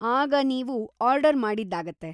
ಆಗ ನೀವು ಆರ್ಡರ್‌ ಮಾಡಿದ್ದಾಗತ್ತೆ.